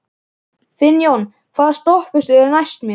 Finnjón, hvaða stoppistöð er næst mér?